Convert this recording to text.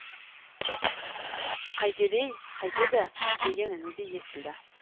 қайтеді ей қайтеді деген үні де естілді